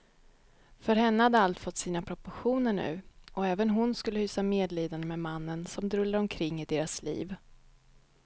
För henne hade allt fått sina proportioner nu, och även hon skulle hysa medlidande med mannen som drullade omkring i deras liv.